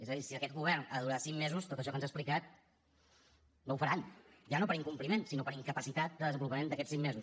és a dir si aquest govern ha de durar cinc mesos tot això que ens ha explicat no ho faran ja no per incompliment sinó per incapacitat de desenvolupament d’aquests cinc mesos